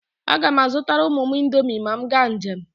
A ga m azụtara ụmụ m indomi ma m gaa njem.